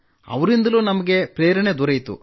ಅವರಿಂದಲೂ ನಮಗೆ ಪ್ರೇರಣೆ ದೊರೆಯಿತು